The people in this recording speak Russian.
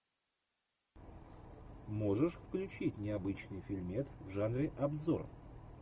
можешь включить необычный фильмец в жанре обзор